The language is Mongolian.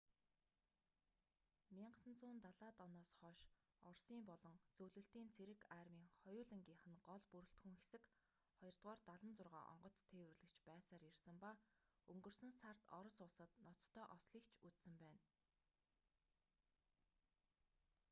1970-д оноос хойш оросын болон зөвлөлтийн цэрэг армийн хоёулангийнх нь гол бүрэлдэхүүн хэсэг ii-76 онгоц тээвэрлэгч байсаар ирсэн ба өнгөрсөн сард орос улсад ноцтой ослыг ч үзсэн байна